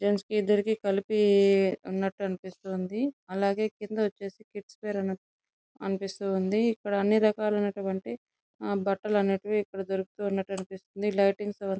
gents కి ఇద్దరికీ కలిపి ఉన్నట్టు అనిపిస్తూ ఉంది అలాగే కింద వచ్చేసి కిడ్స్ వేర్ అని అనిపిస్తుంది ఇక్కడ అన్ని రకాలటువంటి ఆ బట్టలు అనేటివి ఇక్కడ దొరుకుతు ఉనట్టు అనిపిస్తుంది లైటింగ్స్ --